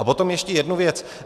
A potom ještě jednu věc.